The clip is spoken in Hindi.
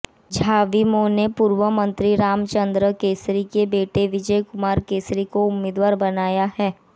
झाविमो ने पूर्व मंत्री रामचंद्र केसरी के बेटे विजय कुमार केसरी को उम्मीदवार बनाया है